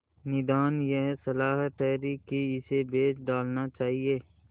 निदान यह सलाह ठहरी कि इसे बेच डालना चाहिए